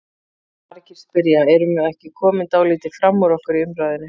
Margir spyrja: Erum við ekki komin dálítið fram úr okkur í umræðunni?